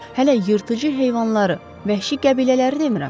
Hələ yırtıcı heyvanları, vəhşi qəbilələri demirəm.